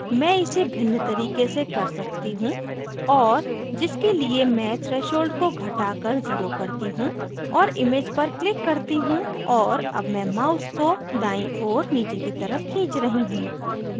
मैं इसे भिन्न तरीके से कर सकती हूँ और जिसके लिए मैं threshold को घटाकर zero करती हूँ और image पर click करती हूँ और अब मैं mouse को दायीं ओर नीचे की तरफ खींच रही हूँ